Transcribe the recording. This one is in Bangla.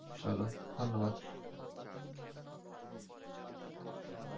চলো ধন্যবাদ।